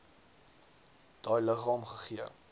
daai liggaam gegee